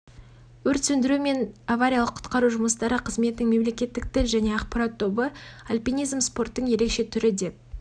өрт сөндіру және авариялық-құтқару жұмыстары қызметінің мемлекеттік тіл және ақпарат тобы альпинизм спорттың ерекше түрі деп